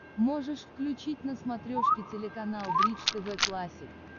можешь включить на смотрешке телеканал бридж тв классик